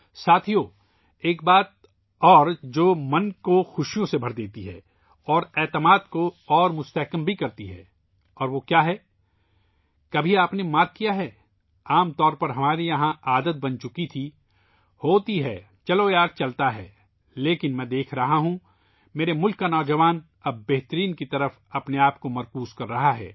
ساتھیوں ، ایک اور بات ، جو دل کو بھی خوشی سے بھر دیتی ہے اور یقین کو بھی مضبوط کرتی ہے اور وہ کیا ہے ؟ کیا آپ نے کبھی توجہ دی ہے؟ عام طور پر ہمارے یہاں ایک عادت بن چکی ہے ہوتی ہے ، چلو یار چلتا ہے ، لیکن میں دیکھ رہا ہوں ، میرے ملک کا نوجوان ذہن اب خود کو بہترین کی طرف مرکوز کر رہا ہے